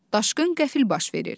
Daşqın qəfil baş verir.